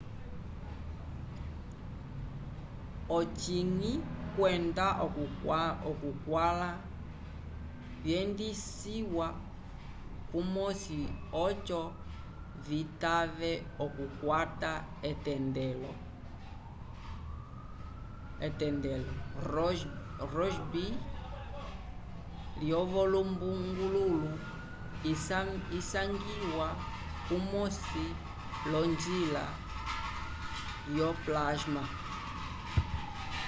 ocinyi kwenda okukwãla vyendisiwa kumosi oco citave okukwata etendelo rossby lyolumbungululu isangiwa kumosi l'onjila lyo plasma